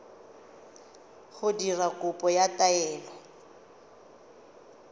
go dira kopo ya taelo